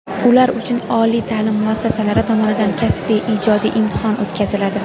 Ular uchun oliy ta’lim muassasalari tomonidan kasbiy (ijodiy) imtihon o‘tkaziladi.